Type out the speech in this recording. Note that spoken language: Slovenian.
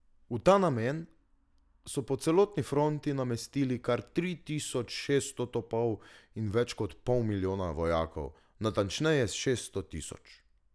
V ta namen so po celotni fronti namestili kar tri tisoč šesto topov in več kot pol milijona vojakov, natančneje šesto tisoč.